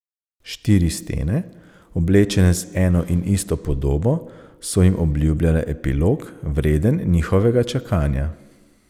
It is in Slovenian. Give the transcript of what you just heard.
Štiri stene, oblečene z eno in isto podobo, so jim obljubljale epilog, vreden njihovega čakanja.